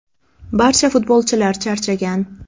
Barcha futbolchilar charchagan.